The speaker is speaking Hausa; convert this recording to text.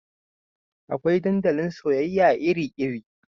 Akwai dandalin soyayya iri iri